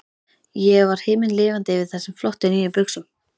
Ég var himinlifandi yfir þessum flottu, nýju buxum.